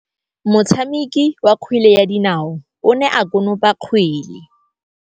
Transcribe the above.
Motshameki wa kgwele ya dinaô o ne a konopa kgwele.